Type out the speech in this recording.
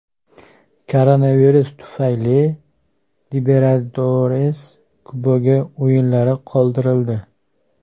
Koronavirus tufayli Libertadores Kubogi o‘yinlari qoldirildi.